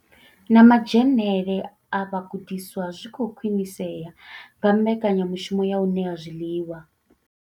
Na madzhenele a vhagudiswa zwi khou khwinisea nga mbekanya mushumo ya u ṋea zwiḽiwa.